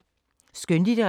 Skønlitteratur